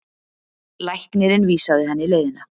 Læknirinn vísaði henni leiðina.